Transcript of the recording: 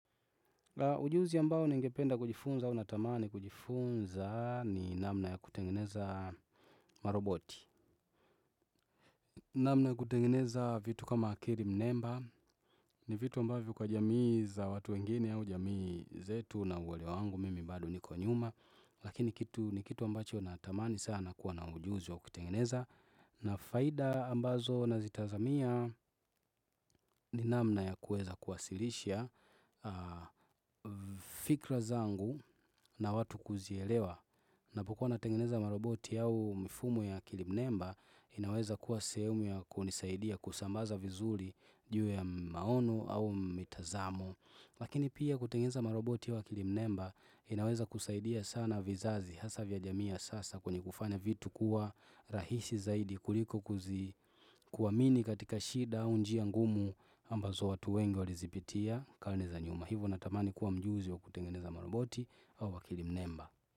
Ujuzi ambao ningependa kujifunza au natamani kujifunza ni namna ya kutengeneza maroboti. Namna ya kutengeneza vitu kama akili mnemba ni vitu ambavyo kwa jamii za watu wengine au jamii zetu na uwelewa wangu mimi bado niko nyuma. Lakini ni kitu ambacho natamani sana kuwa na ujuzi wa kutengeneza. Na faida ambazo nazitazamia ni namna ya kuweza kuwasilisha fikra zangu na watu kuzielewa napokuwa natengeneza maroboti au mfumo ya akili mnemba inaweza kuwa sehemu ya kunisaidia kusambaza vizuri juu ya maono au mitazamo Lakini pia kutengeneza maroboti au akili mnemba inaweza kusaidia sana vizazi hasa vya jamii ya sasa kwenye kufanya vitu kuwa rahisi zaidi kuliko kuzi kuamini katika shida au njia ngumu ambazo watu wengi walizipitia karne za nyuma. Hivo natamani kuwa mjuzi wa kutengeneza maroboti au akili mnemba.